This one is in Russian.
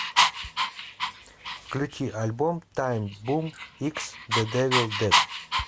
включи альбом тайм бум икс дэ дэвил дэд